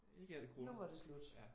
Ikke efter corona